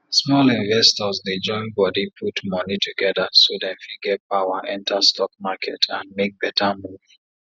small investors dey join body put money together so dem fit get power enter stock market and make better move